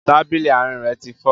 Tábìlì àárín rẹ ti fọ́